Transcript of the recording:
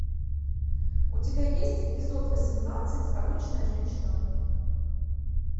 у тебя есть эпизод восемнадцать обычная женщина